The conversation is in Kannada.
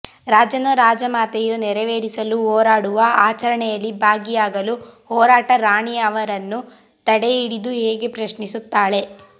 ರಾಜನೂ ರಾಜಮಾತೆಯೂ ನೆರವೇರಿಸಲು ಹೊರಡುವ ಆಚರಣೆಯಲ್ಲಿ ಭಾಗಿಯಾಗಲು ಹೊರಟಾಗ ರಾಣಿ ಅವನನ್ನು ತಡೆದು ಹೀಗೆ ಪ್ರಶ್ನಿಸುತ್ತಾಳೆ